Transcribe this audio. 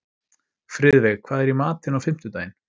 Friðveig, hvað er í matinn á fimmtudaginn?